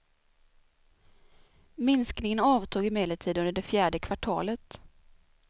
Minskningen avtog emellertid under det fjärde kvartalet.